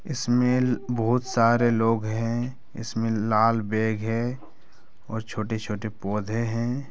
इसमे बोहोत सारे लोग हैं । इसमे लाल बैग है और छोटे-छोटे पौधे हैं ।